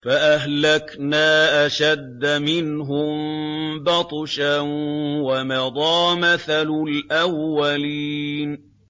فَأَهْلَكْنَا أَشَدَّ مِنْهُم بَطْشًا وَمَضَىٰ مَثَلُ الْأَوَّلِينَ